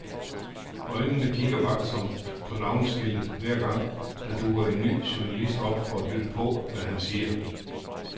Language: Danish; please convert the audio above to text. Øjnene kigger vagtsomt på navneskiltet hver gang, der dukker en ny journalist op for at lytte på, hvad han siger.